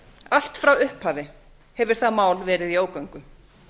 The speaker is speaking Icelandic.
allt frá upphafi hefur það mál verið í ógöngum